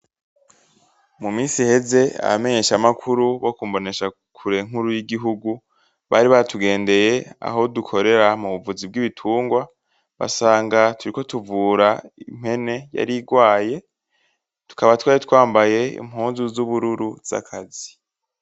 Mu misi iheze abamenyesha makuru bo ku mboneshakure nkuru y’igihugu , bari batugendeye Aho dukorera mubuvuzi bw’ibitungwa , basanga turiko tuvura impene yari igwaye, tukaba twari twambaye impuzu z’ubururu z’akazi.